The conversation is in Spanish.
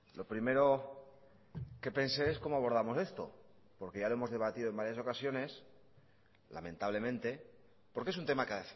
lo primero que pensé es cómo abordamos esto porque ya lo hemos debatido en varias ocasiones lamentablemente porque es un tema que